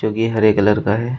जोकि हरे कलर का है।